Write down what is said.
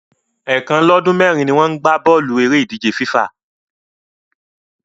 Ẹ̀ẹ̀kan lọ́dún mẹ́rin ni wọ́n ń gbá bọ́ọ̀lù eré ìdíje FIFA